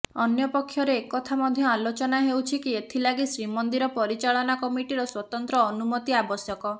ଅନ୍ୟ ପକ୍ଷରେ ଏକଥା ମଧ୍ୟ ଆଲୋଚନା ହେଉଛି କି ଏଥିଲାଗି ଶ୍ରୀମନ୍ଦିର ପରିଚାଳନା କମିଟିର ସ୍ୱତନ୍ତ୍ର ଅନୁମତି ଆବଶ୍ୟକ